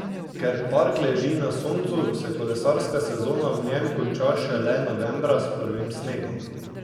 Ker park leži na soncu, se kolesarska sezona v njem konča šele novembra s prvim snegom.